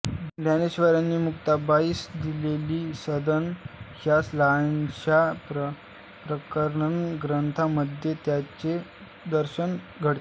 ज्ञानेश्वरांनी मुक्ताबाईस दिलेली सनद या लहानशा प्रकरणग्रंथामध्ये त्याचे दर्शन घडते